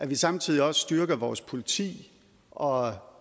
vi samtidig også styrker vores politi og